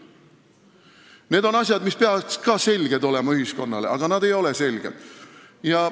Need on asjad, mis peavad ka ühiskonnale selged olema, aga nad ei ole selged.